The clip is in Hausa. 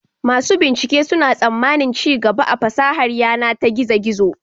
Masu bincike suna tsammanin ci gaba a fasahar yana ta gizo-gizo.